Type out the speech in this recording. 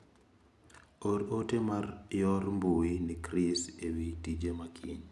Or ote mar yor mbui ne chris ewi tije makiny.